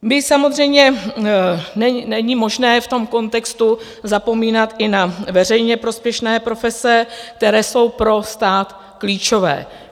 My samozřejmě - není možné v tom kontextu zapomínat i na veřejně prospěšné profese, které jsou pro stát klíčové.